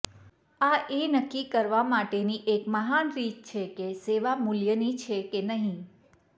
આ એ નક્કી કરવા માટેની એક મહાન રીત છે કે સેવા મૂલ્યની છે કે નહીં